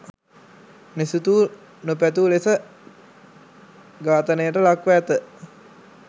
නොසිතූ නොපැතූ ලෙස ඝාතනයට ලක්‌ව ඇත.